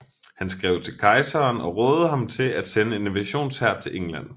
Han skrev til kejseren og rådede ham til at sende en invasionshær til England